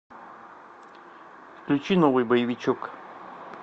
включи новый боевичок